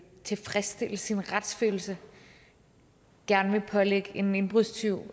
tilfredsstille sin retsfølelse gerne vil pålægge en indbrudstyv